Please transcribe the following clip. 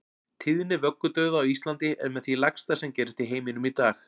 Tíðni vöggudauða á Íslandi er með því lægsta sem gerist í heiminum í dag.